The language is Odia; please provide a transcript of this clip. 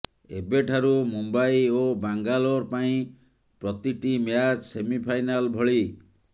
ଏବେଠାରୁ ମୁମ୍ବାଇ ଓ ବାଙ୍ଗାଲୋର୍ ପାଇଁ ପ୍ରତିଟି ମ୍ୟାଚ୍ ସେମିଫାଇନାଲ୍ ଭଳି